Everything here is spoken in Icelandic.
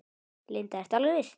Linda: Ertu alveg viss?